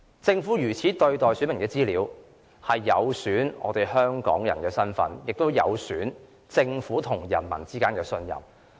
政府如此對待選民的資料，是不尊重香港人的選民身份，亦有損政府與市民之間的信任。